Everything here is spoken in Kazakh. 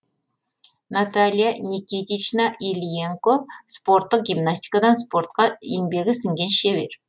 наталья никитична ильенко спорттық гимнастикадан спортқа еңбегі сіңген шебер